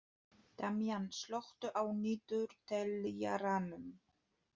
Damjan, slökktu á niðurteljaranum.